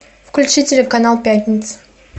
включи телеканал пятница